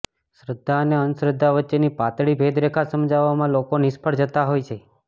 શ્રદ્ધા અને અંધશ્રદ્ધા વચ્ચેની પાતળી ભેદરેખા સમજવામાં લોકો નિષ્ફ્ળ જતાં હોય છે